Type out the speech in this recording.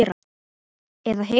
Eða hitt?